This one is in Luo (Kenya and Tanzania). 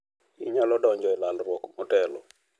Inyalo donjo e lalruok motelo.